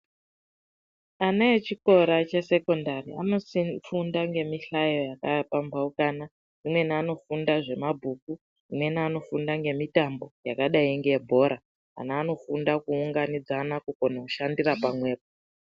Ana echikora chesekendari, anofunda ngemihlayo yakapambaukana amweni anofunda zvemabhuku, amweni anofunda ngemitambo yakadayi ngebhora, ana anofunda kuunganidzana kukona kushandira pamwepo.